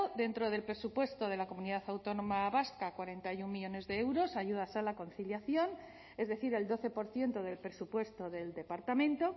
dentro del presupuesto de la comunidad autónoma vasca cuarenta y uno millónes de euros a ayudas a la conciliación es decir el doce por ciento del presupuesto del departamento